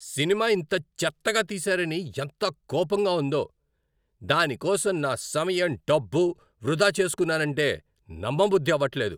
Cinema ఇంత చెత్తగా తీశారని ఎంత కోపంగా ఉందో. దాని కోసం నా సమయం, డబ్బు వృధా చేస్కున్నానంటే నమ్మబుద్ధి అవట్లేదు.